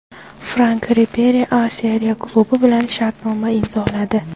Frank Riberi A Seriya klubi bilan shartnoma imzoladi.